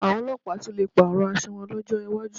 Àwọn ọlọ́pàá tún lè pààrọ̀ aṣọ wọn lọ́jọ́ iwájú